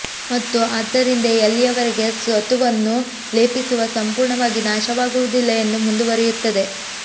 ಮತ್ತು ಆದ್ದರಿಂದ ಎಲ್ಲಿಯವರೆಗೆ ಸತುವನ್ನು ಲೇಪಿಸುವ ಸಂಪೂರ್ಣವಾಗಿ ನಾಶವಾಗುವುದಿಲ್ಲ ಎಂದು ಮುಂದುವರೆಯುತ್ತದೆ